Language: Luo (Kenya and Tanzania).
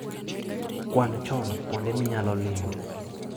Kwan chon kuonde minyalo limo.